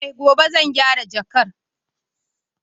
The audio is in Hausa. Eh gobe zan gyara jakar